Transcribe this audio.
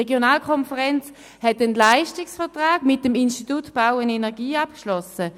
Die Regionalkonferenz hat einen Leistungsvertrag mit dem Institut Bau und Energie (Ibe) abgeschlossen.